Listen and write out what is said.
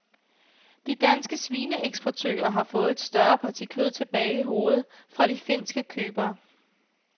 De danske svineeksportører har fået et større parti kød tilbage i hovedet fra de finske købere.